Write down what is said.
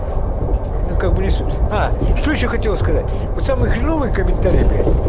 ну как бы не суть а что ещё хотел сказать вот самые хреновые комментарии бля